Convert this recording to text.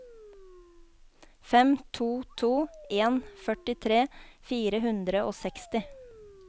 fem to to en førtitre fire hundre og seksti